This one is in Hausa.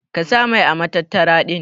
Ka sa mai ã matattara din.